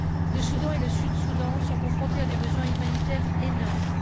Le Soudan et le Sud Soudan sont confrontés à des besoins humanitaires énormes.